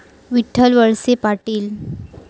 Vitthal Walse Patil